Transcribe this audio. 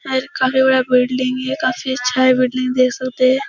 एक काफी बड़ा बिल्डिंग है। काफी अच्छा है बिल्डिंग है देख सकते हैं।